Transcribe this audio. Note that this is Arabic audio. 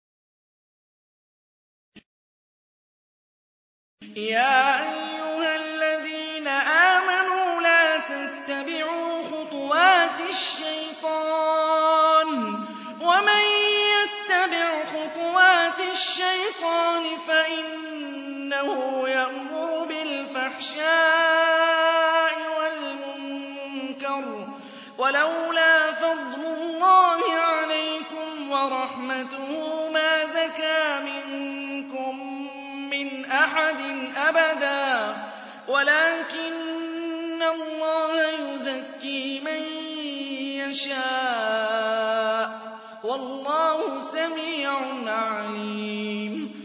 ۞ يَا أَيُّهَا الَّذِينَ آمَنُوا لَا تَتَّبِعُوا خُطُوَاتِ الشَّيْطَانِ ۚ وَمَن يَتَّبِعْ خُطُوَاتِ الشَّيْطَانِ فَإِنَّهُ يَأْمُرُ بِالْفَحْشَاءِ وَالْمُنكَرِ ۚ وَلَوْلَا فَضْلُ اللَّهِ عَلَيْكُمْ وَرَحْمَتُهُ مَا زَكَىٰ مِنكُم مِّنْ أَحَدٍ أَبَدًا وَلَٰكِنَّ اللَّهَ يُزَكِّي مَن يَشَاءُ ۗ وَاللَّهُ سَمِيعٌ عَلِيمٌ